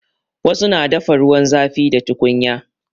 Wasu na dafa ruwan zafi da tukunya.